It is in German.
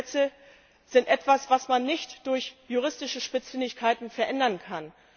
Naturgesetze sind etwas, was man nicht durch juristische Spitzfindigkeiten verändern kann.